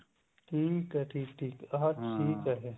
ਠੀਕ ਹੈ ਠੀਕ ਠੀਕ ਹੈ ਫ਼ੇਰ